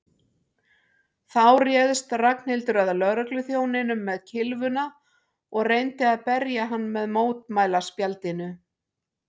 Þá réðst Ragnhildur að lögregluþjóninum með kylfuna og reyndi að berja hann með mótmælaspjaldinu.